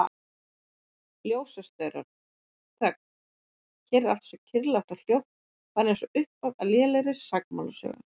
Ljósastaurar, þögn, hér er allt svo kyrrlátt og hljótt, bara einsog upphaf á lélegri sakamálasögu.